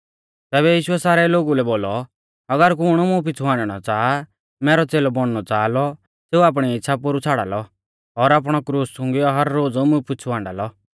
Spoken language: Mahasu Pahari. तैबै यीशुऐ सारै लोगु लै बोलौ अगर कुण मुं पिछ़ु हाण्डणौ च़ाहा मैरौ च़ेलौ बौणनौ च़ाहा लौ सेऊ आपणी इच़्छ़ा पोरु छ़ाड़ा लौ और आपणौ क्रूस च़ुंगीयौ हर रोज़ मुं पिछ़ु हाण्डा लौ